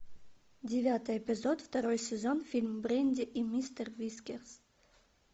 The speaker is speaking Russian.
девятый эпизод второй сезон фильм брэнди и мистер вискерс